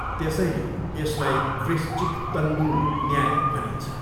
त्यसैले यसलाई वृश्चिक तण्दूल न्याय भनिन्छ।